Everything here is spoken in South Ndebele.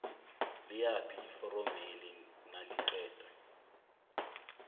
liyaphi iforomeli naliqeda